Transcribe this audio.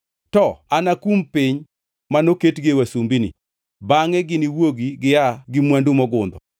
To anakum piny ma noketgi wasumbini, bangʼe giniwuogi gia gi mwandu mogundho.